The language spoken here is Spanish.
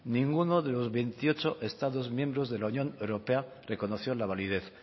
ninguno de los veintiocho estados miembros de la unión europea reconoció la validez